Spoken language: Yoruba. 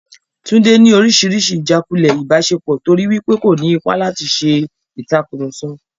Tunde ni oríṣiríṣi ijàkulẹ̀ ìbáṣepọ̀ torí wípé kò ní ipa láti ṣe ìtàkurọ̀sọ.